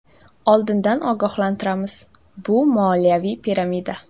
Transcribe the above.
Oldindan ogohlantiramiz: bu moliyaviy piramida.